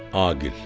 Aqil.